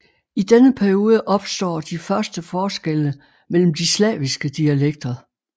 I denne periode opstår de første forskelle mellem de slaviske dialekter